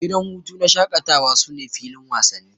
Gidan hutu na shakatawa sune filin wasanni.